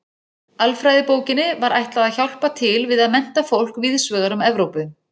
Alfræðibókinni var ætlað að hjálpa til við að mennta fólk víðs vegar um Evrópu.